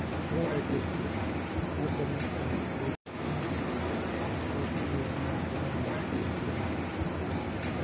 ore aitoki naibelekeny olkuak lokiyo na keyau entoi onkonyek.